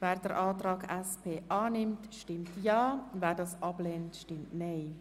Wer den Antrag annimmt, stimmt Ja, wer diesen ablehnt, stimmt Nein.